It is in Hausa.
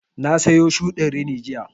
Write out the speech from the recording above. Na sayo shuɗin rini jiya